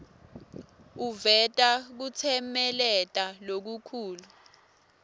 uveta kutsemeleta lokukhulu